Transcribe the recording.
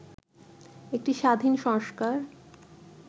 একটি স্বাধীন সংস্কার